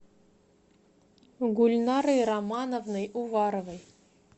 гульнарой романовной уваровой